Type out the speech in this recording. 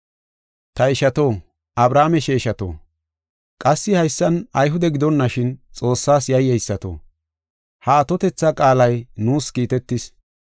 “Ta Ishato, Abrahaame sheeshato, qassi haysan Ayhude gidonashin Xoossas yayyeysato, ha atotetha qaalay nuus kiitetis.